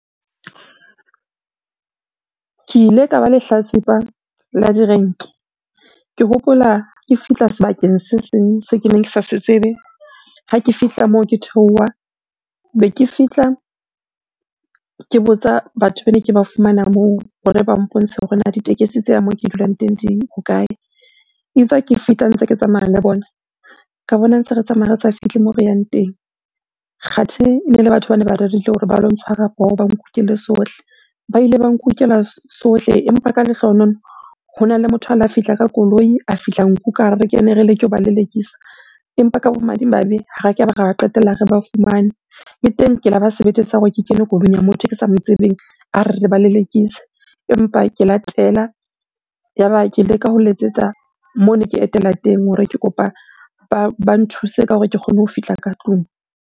Ke ile ka ba lehlatsipa la direnke. Ke hopola ke fihla sebakeng se seng se keneng ke sa se tsebe. Ha ke fihla moo ke theoha, be ke fihla ke botsa batho bene ke ba fumana moo hore ba mpontshe hore na ditekesi tse yang moo ke dulang teng di hokae? Itse ha ke fihla ntse ke tsamaya le bona, ka bona ntse re tsamaya re sa fihle moo re yang teng. Kgathe ene le batho bane ba rerile hore ba lo ntshwara poho, ba nkukele sohle. Ba ile ba nkukela sohle empa ka lehlohonolo hona le motho a la fihla ka koloi, a fihla nkuka re kene re leke hoba lelekisa. Empa ka bomadimabe ha ke qetella re ba fumane. Le teng ke la ba sebete sa hore ke kene koloing ya motho eke sa mo tsebeng a re, re ba lelekise. Empa ke la tela, yaba ke leka ho letsetsa moo ne ke etela teng hore ke kopa ba nthuse ka hore ke kgone ho fihla ka tlung.